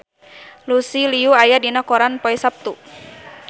Lucy Liu aya dina koran poe Saptu